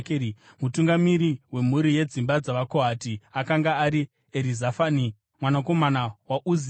Mutungamiri wemhuri yedzimba dzavaKohati akanga ari Erizafani mwanakomana waUzieri.